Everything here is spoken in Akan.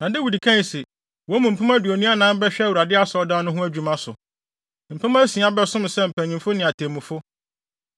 Na Dawid kae se, “Wɔn mu mpem aduonu anan bɛhwɛ Awurade Asɔredan no ho adwuma so. Mpem asia bɛsom sɛ mpanyimfo ne atemmufo.